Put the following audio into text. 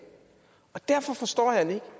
og derfor forstår jeg det